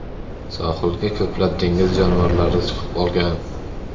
Sohilga ko‘plab dengiz jonivorlari chiqib qolgan.